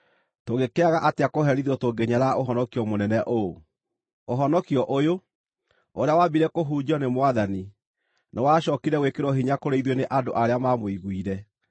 tũngĩkĩaga atĩa kũherithio tũngĩnyarara ũhonokio mũnene ũũ? Ũhonokio ũyũ, ũrĩa waambire kũhunjio nĩ Mwathani, nĩwacookire gwĩkĩrwo hinya kũrĩ ithuĩ nĩ andũ arĩa maamũiguire.